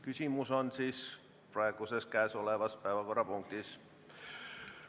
Küsimus on praeguses päevakorrapunktis.